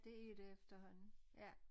Det er det efterhånden ja